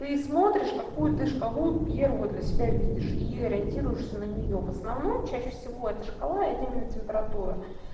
ты смотришь какую ты шкалу первую для себя видишь и ориентируешься на неё в основном чаще всего это шкала это именно температура